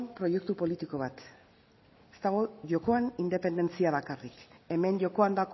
proiektu politiko bat ez dago jokoan independentzia bakarrik hemen jokoan